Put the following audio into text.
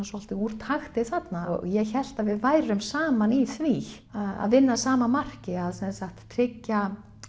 svolítið úr takti þarna ég hélt að við værum saman í því að vinna að sama marki að sem sagt tryggja